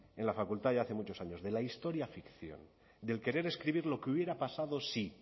en la facultad ya hace muchos años de la historia ficción del querer escribir lo que hubiera pasado si